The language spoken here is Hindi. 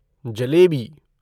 जलेबी